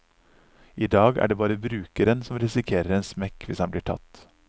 I dag er det bare brukeren som risikerer en smekk hvis han blir tatt.